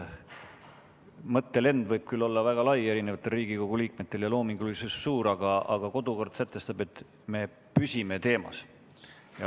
Mõttelend võib Riigikogu liikmetel olla küll väga kõrge ja loomingulisus suur, aga kodukord sätestab, et me püsime teemas.